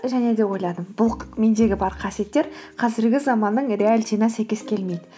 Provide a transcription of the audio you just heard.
және де ойладым бұл мендегі бар қасиеттер қазіргі заманның реалитиына сәйкес келмейді